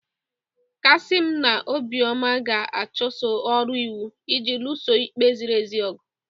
Kasim na Obioma ga-achụso ọrụ iwu iji lụso ikpe ziri ezi ọgụ.